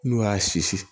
N'u y'a sisi